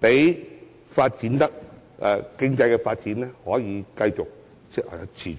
讓經濟發展得以持續。